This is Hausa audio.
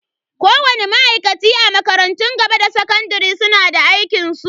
Kowani ma'aikaci a makarantun gaba da sakandare suna da aikinsu.